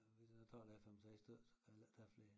Hvis a tager der 5 6 stykker så kan a heller æ tage flere